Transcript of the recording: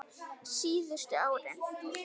Síðustu árin